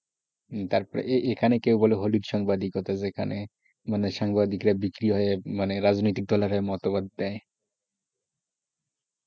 তারপর এখানে কেউ বলে হলুদ সাংবাদিকতা যেখানে, মানে সাংবাদিকরা বিক্রি হয়ে মানে রাজনৈতিক দলের মতামত দেয়,